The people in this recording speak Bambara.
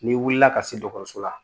N'i wulila ka se dɔgɔtɔrɔso la